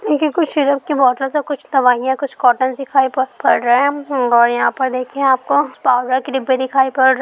इनकी कुछ सिरप की बोतलस और कुछ दवाइयाँ और कुछ कोटटोनस दिखाई पा रहे है और यहाँ पर देखिए आपको के डिब्बे दिखाई पड़ रहे है।